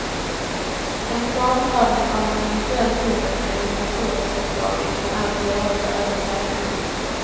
En planprövning av en eventuell tunnel, enligt naturresurslagen, kan alltså göras även senare.